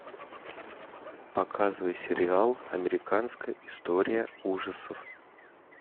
показывай сериал американская история ужасов